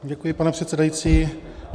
Děkuji, pane předsedající.